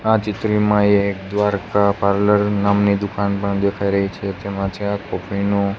આ ચિત્રમાં એક દ્વારકા પાર્લર નામની દુકાન પણ દેખાય રહી છે તેમાં ચા કૉફી નુ--